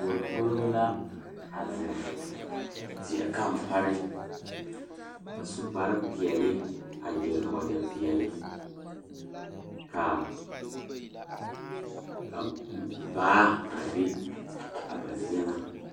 Puori pouri la pɔgeba ne dɔɔba la kaa dɔɔ kaŋa a are a su kpare pelaa kaa Yiri a die dankyini are kaa kolbaare a dɔgle tabol zu.